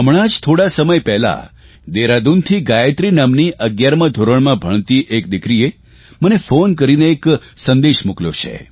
હમણાં જ થોડા સમય પહેલાં દહેરાદૂનથી ગાયત્રી નામની 11મા ધોરણમાં ભણતી એક દિકરીએ મને ફોન કરીને એક સંદેશ મોકલ્યો છે